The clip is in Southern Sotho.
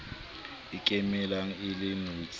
e ikemelang e le notshi